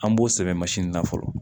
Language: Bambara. An b'o sɛbɛn na fɔlɔ